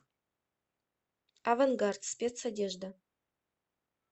авангард спецодежда